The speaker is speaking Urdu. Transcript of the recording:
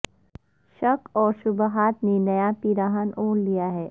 شک اور شبہات نے نیا پیراہن اوڑھ لیا ہے